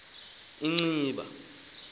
inciba